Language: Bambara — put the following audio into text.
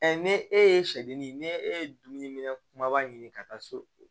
ne e ye sɛdennin ne e ye dumuni minɛ kumaba ɲini ka taa so